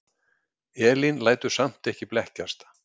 Elín lætur samt ekki blekkjast.